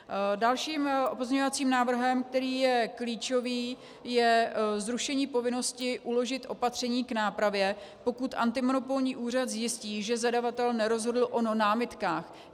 Dalším pozměňovacím návrhem, který je klíčový, je zrušení povinnosti uložit opatření k nápravě, pokud antimonopolní úřad zjistí, že zadavatel nerozhodl o námitkách.